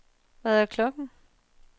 Hvad er klokken